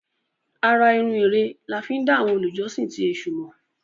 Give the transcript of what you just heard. àrà-irun Ere là fí dá àwọn olùjọsìn ti èsù mọ.